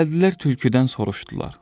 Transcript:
Gəldilər tülküdən soruşdular: